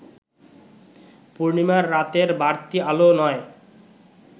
পূর্ণিমার রাতের বাড়তি আলো নয়